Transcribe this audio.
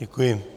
Děkuji.